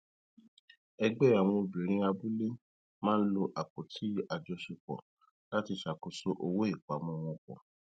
ẹgbẹ àwọn obìnrin abúlé máa ń lo apótí àjọṣepọ láti ṣàkóso owó ìpamọ wọn pọ